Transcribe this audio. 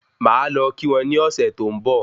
Máà lọ kí wọn ni ọ̀sẹ̀ tó ń bò